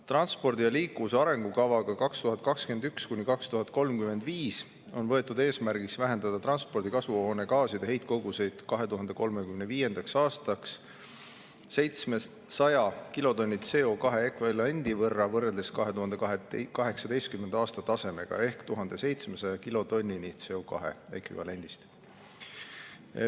Transpordi ja liikuvuse arengukavaga 2021–2035 on võetud eesmärgiks vähendada transpordi kasvuhoonegaaside heitkoguseid 2035. aastaks 700 kilotonni CO2 ekvivalendi võrra võrreldes 2018. aasta tasemega ehk 1700 kilotonnini.